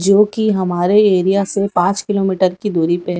जो कि हमारे एरिया से पांच किलोमीटर की दूरी पे--